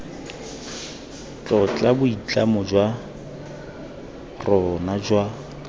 tlotla boitlamo jwa rona jwa